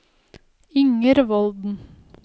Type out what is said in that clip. Inger Volden